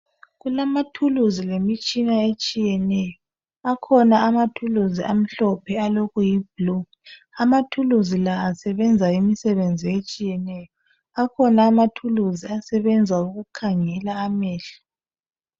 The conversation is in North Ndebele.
Kulamathuluzi lemitshina etshiyeneyo. Akhona amathuluzi amhlophe alokuyibhulu. Amathuluzi la asebenzi imisibenzi etshiyeneyo. Akhona amathuluzi asebenza ukukhangela amehlo.